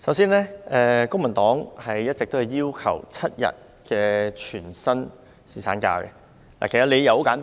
首先，公民黨一直要求設定7天全薪侍產假，理由十分簡單。